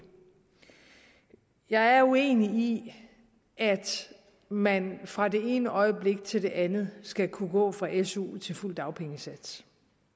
jeg er uenig i at man fra det ene øjeblik til det andet skal kunne gå fra su til fuld dagpengesats